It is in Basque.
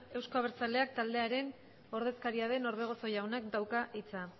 euzko abertzaleak taldearen ordezkaria den orbegozo jaunak dauka hitza